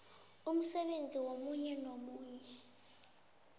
umsebenzi omunye nomunye